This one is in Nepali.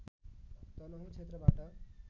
तनहुँ क्षेत्रबाट